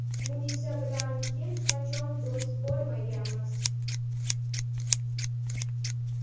Munisa bilan hech qachon do‘st bo‘lmaganmiz.